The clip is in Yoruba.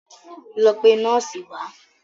Lọ pe nọ́ọ̀sì wá!